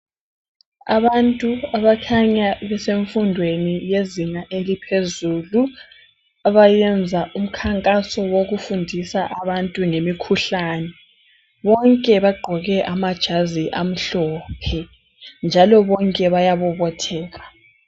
abantu abakhanya besemfundweni yezinga eliphezulu abayenza umkhankaso wokufundisa abantu ngemikhuhlane bonke bagqoke amajazi amhlophe njalo bonke bayabobotheka